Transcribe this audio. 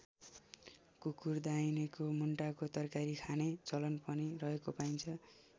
कुकुर दाइनीको मुन्टाको तरकारी खाने चलन पनि रहेको पाइन्छ।